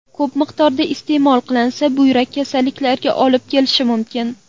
Ko‘p miqdorda iste’mol qilinsa, buyrak kasalliklariga olib kelishi mumkin.